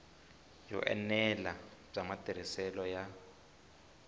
yo enela bya matirhiselo ya